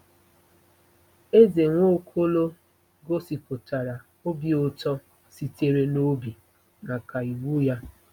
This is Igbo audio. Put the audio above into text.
Eze Nwaokolo gosipụtara obi ụtọ sitere n'obi maka iwu ya